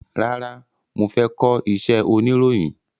Rárá, mo fẹ́ kọ iṣẹ́ oniroyin.